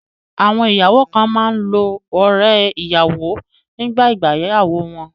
Àwọn ìyàwó kan máa ń lo ọrẹ́-ìyàwọ nígbà ìgbéyàwó wọn.